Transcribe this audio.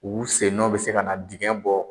U sen nɔ bɛ se ka na dingɛ bɔ